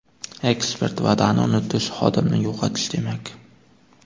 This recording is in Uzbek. Ekspert: Va’dani unutish xodimni yo‘qotish demak.